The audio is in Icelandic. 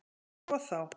Sko þá!